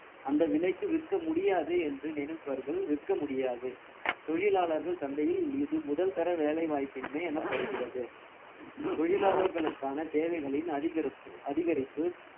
அந்த விலைக்கு விற்க முடியாது என்று நினைப்பவர்கள் விற்க முடியாது தொழிலாளர்கள் சந்தையில் இது முதல் தர வேலை வாய்ப்பின்மை எனப்படுகிறது தொழிலாளர்களுக்கான தேவைகளின் அதிகரிப்பு அதிகரிப்பு